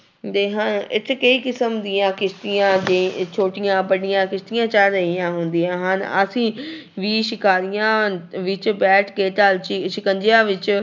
ਦੇ ਹਨ ਇੱਥੇ ਕਈ ਕਿਸਮ ਦੀਆਂ ਕਿਸਤੀਆਂ ਦੇ ਛੋਟੀਆਂ ਬੜੀਆਂ ਕਿਸਤੀਆਂ ਚੱਲ ਰਹੀਆਂ ਹੁੰਦੀਆਂ ਹਨ ਅਸੀਂ ਵੀ ਸ਼ਿਕਾਰੀਆਂ ਵਿੱਚ ਬੈਠ ਕੇ ਡੱਲ ਝੀ ਸਿਕੰਜਿਆਂ ਵਿੱਚ